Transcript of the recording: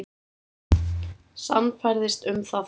Sannfærðist um það þá.